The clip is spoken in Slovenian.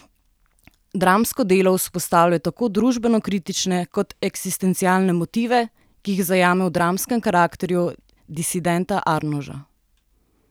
Dramsko delo vzpostavlja tako družbenokritične kot eksistencialne motive, ki jih zajame v dramskem karakterju disidenta Arnoža.